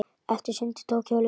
Eftir sundið tók hjólið við.